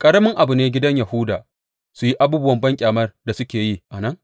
Ƙaramin abu ne gidan Yahuda su yi abubuwan banƙyamar da suke yi a nan?